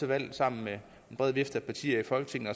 man sammen med en bred vifte af partier i folketinget